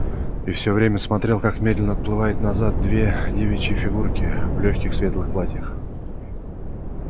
и всё время смотрел как медленно отплывают назад две девичьи фигурки в лёгких светлых платьях